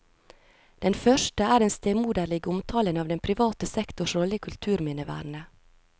Den første er den stemoderlige omtalen av den private sektors rolle i kulturminnevernet.